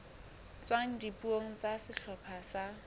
tswang dipuong tsa sehlopha sa